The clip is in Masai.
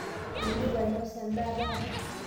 indipa ainosa endaa taata?